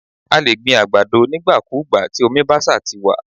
A lè gbin àgbàdo nígbà kúùgbà, tí omi bá ṣa ti wà.